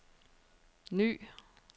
ny